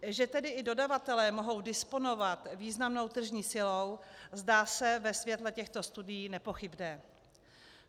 Že tedy i dodavatelé mohou disponovat významnou tržní silou, zdá se ve světle těchto studií nepochybné.